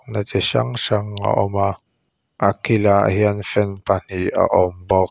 a chi hrang hrang a awm a a kilah hian fan pahnih a awm bawk.